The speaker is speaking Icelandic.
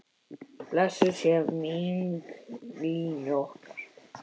Blessuð sé minning Línu okkar.